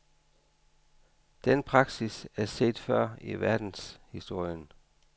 Den praksis er set før i verdenshistorien.